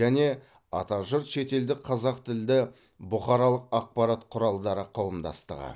және атажұрт шетелдік қазақ тілді бұқаралық ақпарат құралдары қауымдастығы